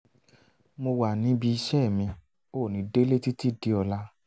mo wà níbi iṣẹ́ mi ò ní délé títí di ọ̀la